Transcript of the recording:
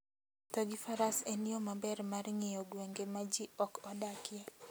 Wuotho gi faras en yo maber mar ng'iyo gwenge ma ji ok odakie.